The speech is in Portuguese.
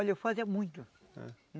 Olha, eu fazia muito. É?